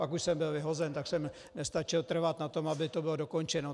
Pak už jsem byl vyhozen, tak jsem nestačil trvat na tom, aby to bylo dokončeno.